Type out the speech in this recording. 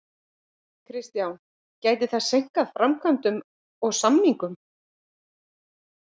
Kristján: Gæti það seinkað framkvæmdum og samningum?